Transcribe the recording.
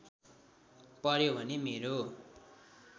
पर्‍यो भने मेरो